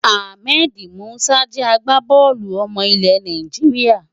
Ahmed Musa jẹ́ agbábọ́ọ̀lù ọmọ ilẹ̀ Nàìjíríà.